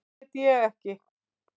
Það veit ég ekki.